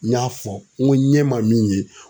N y'a fɔ n ko n ɲɛ ma min ye